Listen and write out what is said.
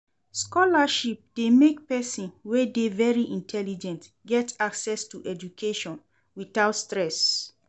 Scholarship de make persin wey de very intelligent get access to education without stress